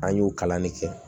An y'o kalan de kɛ